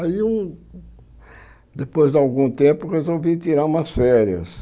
Aí, eu depois de algum tempo, resolvi tirar umas férias.